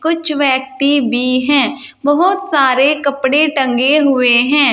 कुछ व्यक्ति भी है बहोत सारे कपड़े टंगे हुए हैं।